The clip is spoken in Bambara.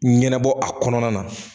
Ɲɛnɛbɔ a kɔnɔna na